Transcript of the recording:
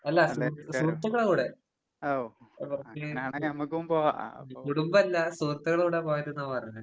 അല്ല സുഹൃ സുഹൃത്ത്ക്കളെ കൂടെ. അവർക്ക് കുടുംബല്ല, സുഹൃത്ത്ക്കളെ കൂടെയാ പോയത്ന്നാ പറഞ്ഞേ.